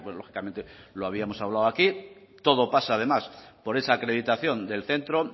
lógicamente lo habíamos hablado aquí todo pasa además por esa acreditación del centro